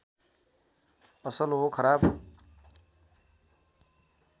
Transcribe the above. असल हो खराब